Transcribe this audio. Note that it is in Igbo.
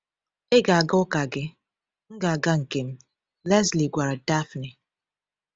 “Ị ga-aga ụka gị, m ga-aga nke m,” Lesley gwara Daphne.